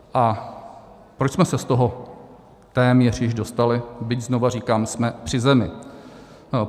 A proč jsme se z toho téměř již dostali, byť, znovu říkám, jsme při zemi?